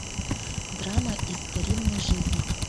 драма из старинной жизни